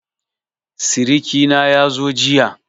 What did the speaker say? Siriki na yazo jiya.